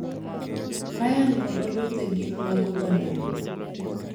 Ryan kod Oludhe gin mag oganda Luo,